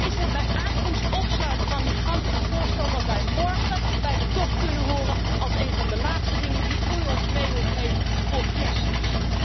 Is het bij aankomst opsluiten van migranten een voorstel dat wij morgen bij de top kunnen horen als één van de laatste dingen die u ons mee wil geven voor Kerstmis?